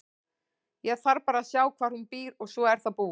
Ég þarf bara að sjá hvar hún býr og svo er það búið.